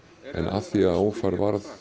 af því að ófærð varð